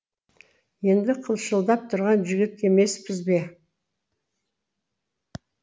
енді қылшылдап тұрған жігіт емеспіз бе